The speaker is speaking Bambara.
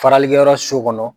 Faralikɛ yɔrɔ su kɔnɔ.